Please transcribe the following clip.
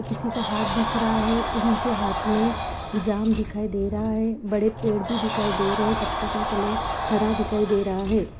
किसी का हाथ दिख रहा है उनके हाथ में जाम दिखाई दे रहा है बड़े पेड़ भी दिखाई दे रहे हैं पत्तों का कलर हरा दिखाई दे रहा है।